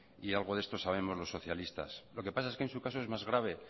y algo de esto sabemos los socialistas lo que pasa es que en su caso es más grave